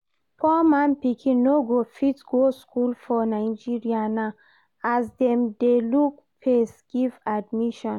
Poor man pikin no go fit go school for Nigeria now, as dem dey look face give admission